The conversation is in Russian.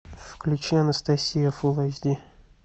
включи анастасия фул эйч ди